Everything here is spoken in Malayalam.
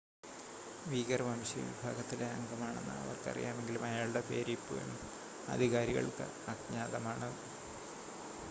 വീഗർ വംശീയ വിഭാഗത്തിലെ അംഗമാണെന്ന് അവർക്ക് അറിയാമെങ്കിലും അയാളുടെ പേര് ഇപ്പോഴും അധികാരികൾക്ക് അജ്ഞാതമാണ്